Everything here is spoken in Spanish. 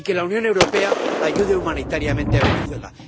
Y que la Unión Europea ayude humanitariamente a Venezuela.